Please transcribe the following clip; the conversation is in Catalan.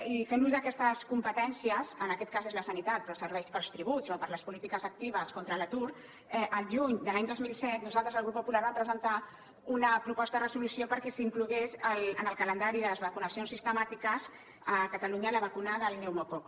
i fent ús d’aquestes competències en aquest cas és la sanitat però serveix per als tributs o per a les polítiques actives contra l’atur el juny de l’any dos mil set nosaltres el grup popular vam presentar una proposta de resolució perquè s’inclogués en el calendari de les vacunacions sistemàtiques a catalunya la vacuna del pneumococ